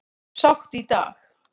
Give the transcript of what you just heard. Sátt í dag